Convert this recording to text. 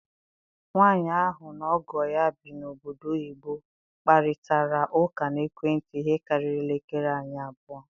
Nwanyị ahụ na ọgọ ya bi na obodo oyibo kparịtara ụka n'ekwentị ihe karịrị elekere anya abụọ